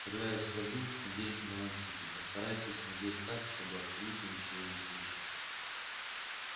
когда я скажу наденьте наушники постарайтесь надеть так чтобы абсолютно ничего не слышать